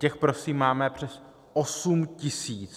Těch prosím máme přes 8 tisíc.